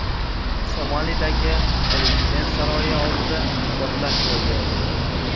Somalidagi prezident saroyi oldida portlash ro‘y berdi.